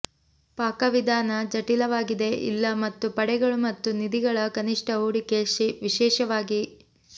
ಪಾಕವಿಧಾನ ಜಟಿಲವಾಗಿದೆ ಇಲ್ಲ ಮತ್ತು ಪಡೆಗಳು ಮತ್ತು ನಿಧಿಗಳ ಕನಿಷ್ಠ ಹೂಡಿಕೆ ವಿಶೇಷವಾಗಿ